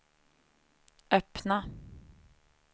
öppna